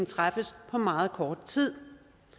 træffes på meget kort tid